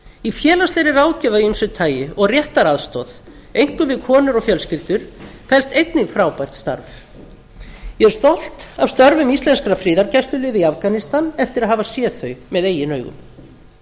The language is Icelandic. í félagslegri ráðgjöf af ýmsu tagi og réttaraðstoð einkum við konur og fjölskyldur felst einnig frábært starf ég er stolt af störfum íslenskra friðargæsluliða í afganistan eftir að hafa séð þau með eigin augum unnið er